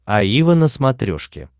аива на смотрешке